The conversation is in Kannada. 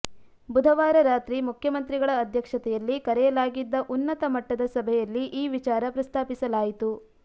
ಬುಧವಾರ ರಾತ್ರಿ ಮುಖ್ಯಮಂತ್ರಿಗಳ ಅಧ್ಯಕ್ಷತೆಯಲ್ಲಿ ಕರೆಯಲಾಗಿದ್ದ ಉನ್ನತಮಟ್ಟದ ಸಭೆಯಲ್ಲಿ ಈ ವಿಚಾರ ಪ್ರಸ್ತಾಪಿಸಲಾಯಿತು